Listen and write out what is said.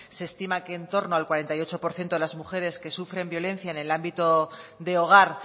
se estima que en torno al cuarenta y ocho por ciento de las mujeres que sufren violencia en el ámbito de hogar